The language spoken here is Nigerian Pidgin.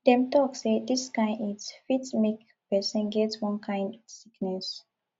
dem tok sey dis kain heat fit make pesin get one kain sickness